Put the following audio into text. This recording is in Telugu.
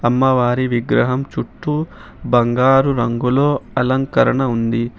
అమ్మవారి విగ్రహం చుట్టూ బంగారు రంగులో అలంకరణ ఉంది.